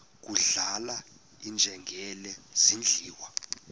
kudlala iinjengele zidliwa